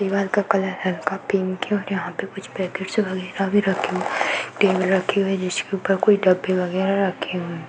दीवार का कलर हल्का पिंक हैं और यहाँ पे कुछ पैकेट्स वगैरह भी रखे हुए हैं। टेबल रखी हुई है। जिसके ऊपर कोई डब्बे वगैरह रखे हुए हैं।